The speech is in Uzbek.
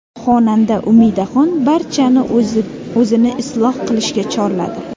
Xonanda Umidaxon barchani o‘zini isloh qilishga chorladi.